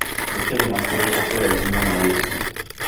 nĩ kĩrikũ kĩrima kĩraihu mũno Asia